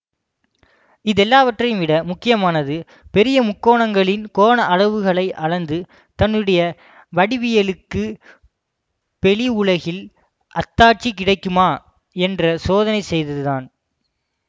இதெல்லாவற்றையும் விட முக்கியமானது பெரிய முக்கோணங்களின் கோண அளவுகளை அளந்து தன்னுடைய வடிவியலுக்கு பெளி உலகில் அத்தாட்சி கிடைக்குமா என்று சோதனை செய்தது தான்